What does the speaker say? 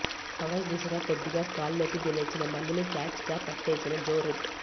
covers దిశగా కొద్దిగా గాల్లోకి లేచిన బంతిని క్యాచ్గా పట్టేసిన జో రూట్